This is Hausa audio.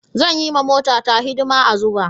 Zan yi wa motata hidima a Zuba.